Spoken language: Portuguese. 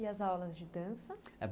E as aulas de dança?